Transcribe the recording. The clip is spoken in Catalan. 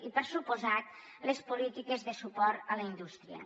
i per descomptat les polítiques de suport a la indústria